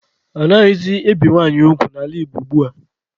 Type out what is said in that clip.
Anaghịzị ebi nwanyị ugwu n'ala Igbo ugbua.